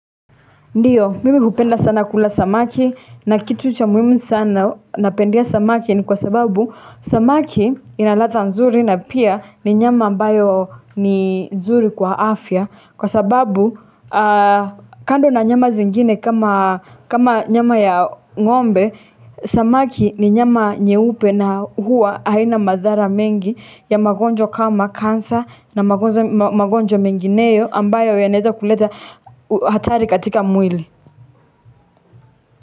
Ndiyo, mimi hupenda sana kula samaki na kitu cha muhimu sana napendea samaki ni kwa sababu samaki ina ladha nzuri na pia ni nyama ambayo ni nzuri kwa afya. Kwa sababu kando na nyama zingine kama nyama ya ng'ombe, Samaki ni nyama nyeupe na huwa haina madhara mengi ya magonjwa kama cancer na magonjwa mengineyo ambayo yanaweza kuleta hatari katika mwili.